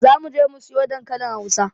Zamuje mu siyo dankalin hausa